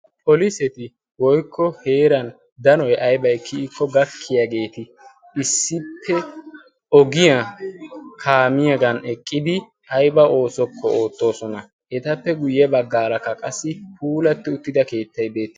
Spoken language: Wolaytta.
Poliseti woykko heeran danoy aybay kiyikko gakkiyaageeti issippe ogiyaa kaamiyaagan eqqidi aiba oosokko oottoosona. etappe guyye baggaalakka qassi puulatti uttida keettay baa.